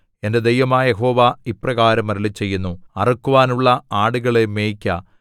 എന്റെ ദൈവമായ യഹോവ ഇപ്രകാരം അരുളിച്ചെയ്യുന്നു അറുക്കുവാനുള്ള ആടുകളെ മേയ്ക്ക